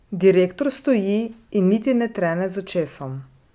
Direktor stoji in niti ne trene z očesom.